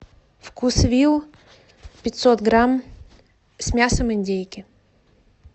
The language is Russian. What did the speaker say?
вкусвилл пятьсот грамм с мясом индейки